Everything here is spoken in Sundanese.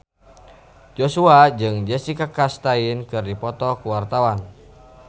Joshua jeung Jessica Chastain keur dipoto ku wartawan